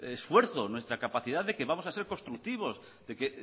esfuerzo nuestra capacidad de que vamos a ser constructivos de que